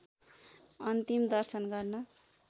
अन्तिम दर्शन गर्न